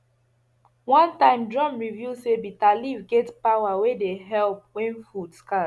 one time drum reveal say bitterleaf get power wey dey help when food scarce